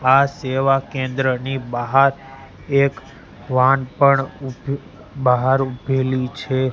આ સેવા કેન્દ્રની બહાર એક વાહન પણ ઉભું બહાર ઉભેલી છે.